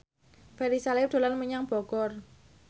Ferry Salim dolan menyang Bogor